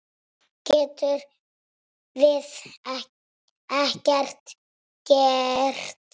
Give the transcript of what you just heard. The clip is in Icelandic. Getum við ekkert gert?